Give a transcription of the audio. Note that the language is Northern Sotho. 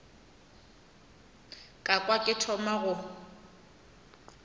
ka kwa ke thoma go